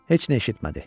Heç nə eşitmədi.